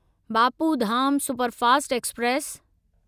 Bapu Dham superfast express